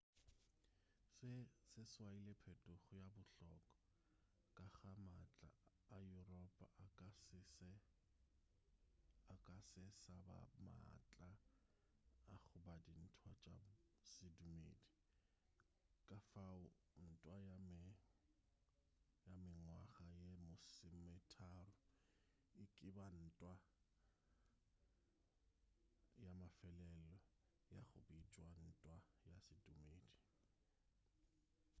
se se swaile phetogo ye bohlokwa ka ge maatla a yuropa a ka se sa ba le maatla a go ba dintwa tša sedumedi ka fao ntwa ya mengwaga ye masometharo e ka ba ntwa ya mafelelo ya go bitšwa ntwa ya sedumedi